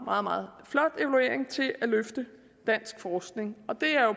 meget meget flot evaluering til at løfte dansk forskning og det er jo